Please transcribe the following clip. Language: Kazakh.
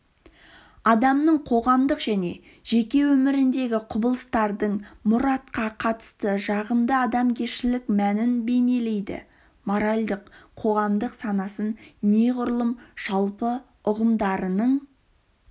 адамның қоғамдық және жеке өміріндегі құбылыстардың мұратқа қатысты жағымды адамгершілік мәнін бейнелейді моральдық-қоғамдық сананың неғұрлым жалпы ұғымдарының